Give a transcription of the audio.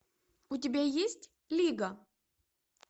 у тебя есть лига